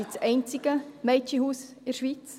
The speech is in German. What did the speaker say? Es ist das einzige Mädchenhaus in der Schweiz.